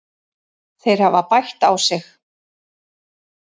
Þeir hafa bætt sig.